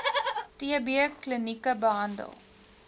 tb klinieke behandel